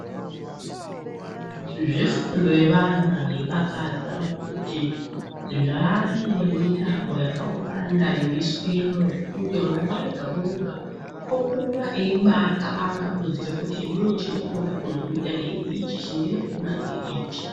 Zvefundo yevana zvodakadza ngekuti zvaane mitambo yakawanda yoiswemwo zvekuti mwana wega wega okura eibaakabanga kuziye kuti ininichandinode kuzoita ngeichi ,chandinokona ngeichi.